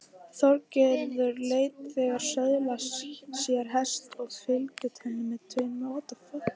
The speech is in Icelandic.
Þorgerður lét þegar söðla sér hest og fylgdu henni tveir menn.